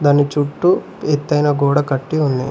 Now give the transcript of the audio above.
దాని చుట్టూ ఎతైన గోడ కట్టి ఉన్నాయి.